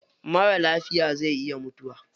Marar lafiya zai iya mutuwa.